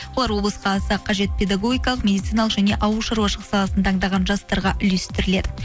олар облысқа аса қажет педагогикалық медициналық және ауылшаруашылық саласын таңдаған жастарға үлестіріледі